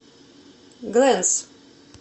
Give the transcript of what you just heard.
глэнс